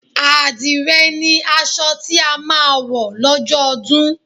Àdìrẹ ni aṣọ tí a máa wọ̀ lọ́jọ́ ọdún